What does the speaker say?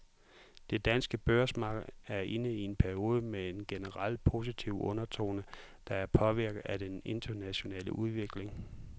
Det danske børsmarked er inde i en periode med en generelt positiv undertone, der er påvirket af den internationale udvikling.